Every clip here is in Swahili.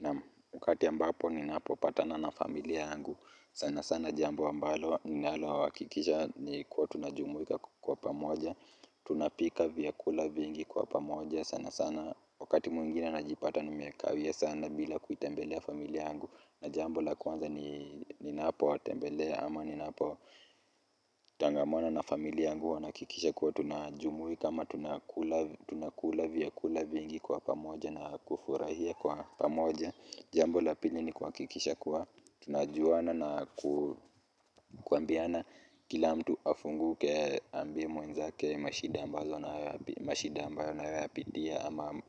Naam wakati ambapo ninapo patana na familia yangu sana sana jambo ambalo ninalo hakikisha ni kuwa tunajumuika kwa pamoja tunapika vyakula vingi kwa pamoja, sana sana wakati mwingine najipata nimekawia sana bila kuitembelea familia yangu, na jambo la kwanza ni ninapo watembelea ama ninapo tangamana na familia yangu huwa nahakikisha kuwa tunajumuika ama tunakula vyakula vingi kwa pamoja na kufurahia kwa pamoja. Jambo la pili ni kuhakikisha kuwa tunajuana na kuambiana kila mtu afunguke aambie mwenzake mashida ambayo anayoyapitia. Ama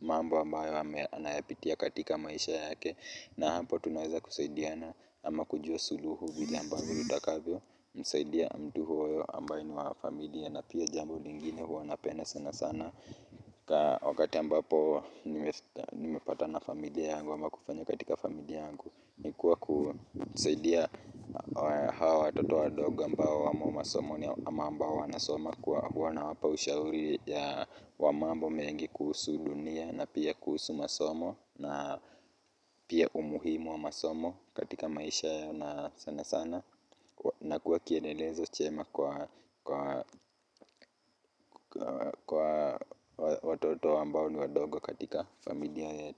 mambo ambayo anayopitia katika maisha yake. Na hapo tunaweza kusaidiana ama kujua suluhu vile ambavyo utakavyo. Msaidia mtu huyo ambaye ni wa familia na pia jambo lingine huwa napenda sana sana wakati ambapo nimepatana na familia yangu ama kufanya katika familia yangu ni kuwa kusaidia hawa watoto wadogo ambao wamo masomoni ambao wanasoma huwa nawapa ushauri wa mambo mengi kuhusu dunia na pia kuhusu masomo na pia umuhimu wa masomo katika maisha yao na sana sana na kuwa kielelezo chema kwa watoto ambao ni wadogo katika familia yetu.